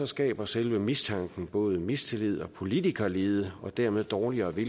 skaber selve mistanken både mistillid og politikerlede og dermed dårligere